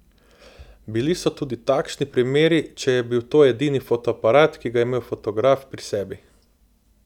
Bili so tudi takšni primeri, če je bil to edini fotoaparat, ki ga je imel fotograf pri sebi.